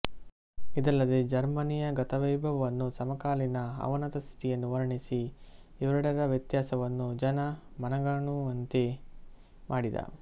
ಇದಲ್ಲದೆ ಜರ್ಮನಿಯ ಗತವೈಭವವನ್ನೂ ಸಮಕಾಲೀನ ಅವನತ ಸ್ಥಿತಿಯನ್ನೂ ವರ್ಣಿಸಿ ಇವೆರಡರ ವ್ಯತ್ಯಾಸವನ್ನು ಜನ ಮನಗಾಣುವಂತೆ ಮಾಡಿದ